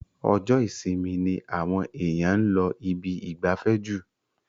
Ọjọ́ isinmi ni àwọn èyàn ń lọ ibi ìgbafẹ́ jù.